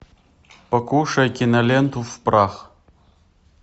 покушай киноленту в прах